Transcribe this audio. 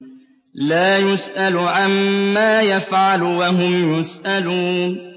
لَا يُسْأَلُ عَمَّا يَفْعَلُ وَهُمْ يُسْأَلُونَ